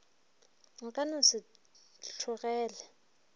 o ka no se tlhokege